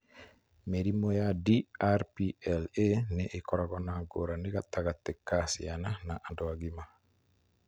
Mĩrimũ ya DRPLA nĩ ĩkoragwo na ngũrani gatagatĩ ka ciana na andũ agima.